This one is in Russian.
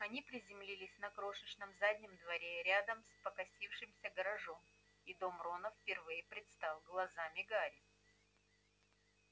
они приземлились на крошечном заднем дворе рядом с покосившимся гаражом и дом рона впервые предстал глазам гарри